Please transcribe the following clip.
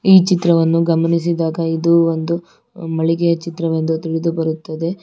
ಈ ಚಿತ್ರವನ್ನು ಗಮನಿಸಿದಾಗ ಇದು ಒಂದು ಮಳಿಗೆಯ ಚಿತ್ರವೆಂದು ತಿಳಿದು ಬರುತ್ತದೆ.